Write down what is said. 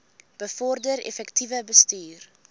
bevorder effektiewe bestuur